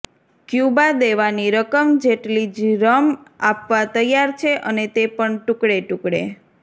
Cuba દેવાની રકમ જેટલી જ રમ આપવા તૈયાર છે અને તે પણ ટૂકડે ટૂકડે